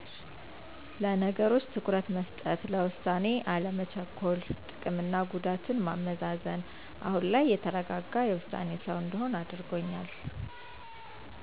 ለነገሮች ትኩረት መስጠት፣ ለውሳኔ አለመቸኮል፣ ጥቅምና ጉዳት ማመዛዘን። አሁን ላይ የተረጋጋ የውሳኔ ሰው እንድሆን አድርጎኛል።